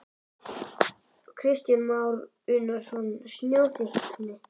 Kristján Már Unnarsson: Snjóþykktin?